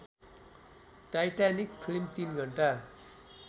Titanic film ३ घण्टा